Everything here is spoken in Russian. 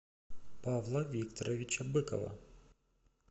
павла викторовича быкова